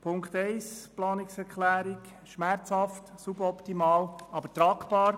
Zur Planungserklärung 1: Die Massnahme ist schmerzhaft, suboptimal, aber tragbar.